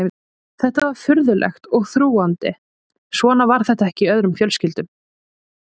Þetta var furðulegt og þrúgandi, svona var þetta ekki í öðrum fjölskyldum.